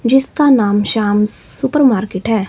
जिसका नाम श्याम सुपरमार्केट है।